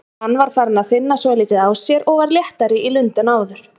Hann var farinn að finna svolítið á sér og var léttari í lund en áður.